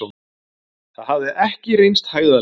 Það hafði ekki reynst hægðarleikur.